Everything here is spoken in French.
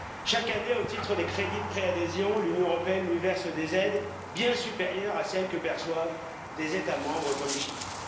Chaque année, au titre des crédits de pré adhésion, l'Union européenne lui verse des aides bien supérieures à celles que perçoivent des États membres comme Chypre.